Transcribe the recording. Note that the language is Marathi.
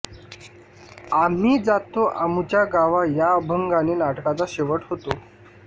आम्ही जातो आमुच्या गावा या अभंगाने नाटकाचा शेवट होतो